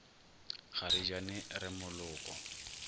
ga re jane re moloko